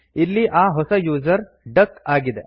ಇಲ್ಲಿ ಆ ಹೊಸ ಯೂಸರ್ ಡಕ್ ಆಗಿದೆ